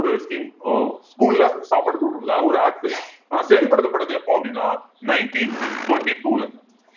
ஒரு scheme அஹ் school அ சாப்பாடு குடுக்கறதுக்காக ஒரு act ஆனா செயல்படுத்தப்பட்டது எப்போ அப்படின்னா nineteen twenty two ல